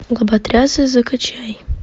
лоботрясы закачай